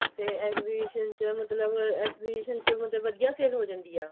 ਤੇ exhibition ਚ ਮਤਲਬ exhibition ਚ ਮਤਲਬ ਵਧੀਆ sale ਹੋ ਜਾਂਦੀ ਆ